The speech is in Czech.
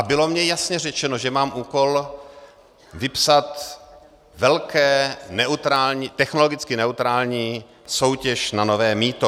A bylo mně jasně řečeno, že mám úkol vypsat velkou technologicky neutrální soutěž na nové mýto.